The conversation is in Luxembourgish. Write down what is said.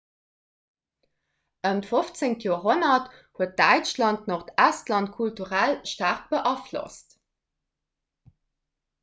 ëm d'15. joerhonnert huet däitschland nordestland kulturell staark beaflosst